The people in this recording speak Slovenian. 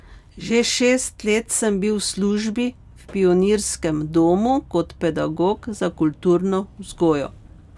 Že šest let sem bil v službi v Pionirskem domu kot pedagog za kulturno vzgojo.